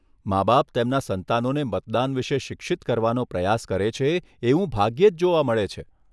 માબાપ તેમના સંતાનોને મતદાન વિશે શિક્ષિત કરવાનો પ્રયાસ કરે છે એવું ભાગ્યે જ જોવા મળે છે.